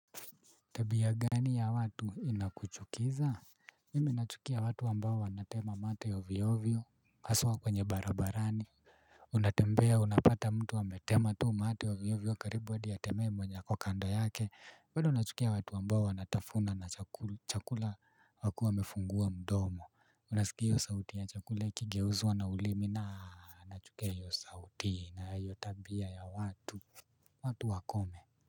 Tabia gani ya watu inakuchukiza. Mimi nachukia watu ambao wanatema mate ovyoovyo. Haswa kwenye barabarani unatembea unapata mtu ametema tu mate ovyoovyo karibu hadi atemee mwenye ako kando yake bado nachukia watu ambao wanatafuna na chakula wakue wamefungua mdomo. Unasikia hiyo sauti ya chakula ikigeuzwa na ulimi na nachukia hiyo sauti na hiyo tabia ya watu. Watu wakome.